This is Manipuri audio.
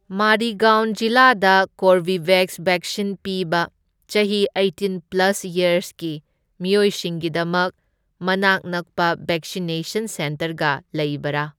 ꯃꯥꯔꯤꯒꯥꯎꯟ ꯖꯤꯂꯥꯗ ꯀꯣꯔꯕꯤꯕꯦꯛꯁ ꯚꯦꯛꯁꯤꯟ ꯄꯤꯕ ꯆꯍꯤ ꯑꯩꯇꯤꯟ ꯄ꯭ꯂꯁ ꯌꯔꯁꯀꯤ ꯃꯤꯑꯣꯏꯁꯤꯡꯒꯤꯗꯃꯛ ꯃꯅꯥꯛ ꯅꯛꯄ ꯚꯦꯛꯁꯤꯅꯦꯁꯟ ꯁꯦꯟꯇꯔꯒ ꯂꯩꯕꯔꯥ?